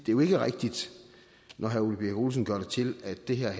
jo ikke er rigtigt når herre ole birk olesen gør det til at det her